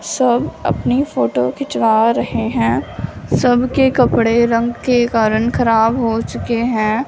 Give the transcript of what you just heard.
सब अपनी फोटो खिंचवा रहे हैं सबके कपड़े रंग के कारण खराब हो चुके हैं।